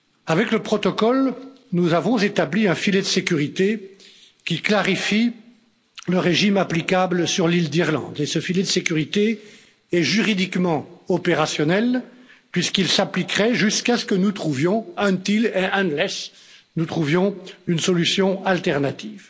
Avec le protocole, nous avons établi un filet de sécurité qui clarifie le régime applicable sur l'île d'Irlande et ce filet de sécurité est juridiquement opérationnel puisqu'il s'appliquerait jusqu'à ce que nous trouvions until and unless une solution alternative.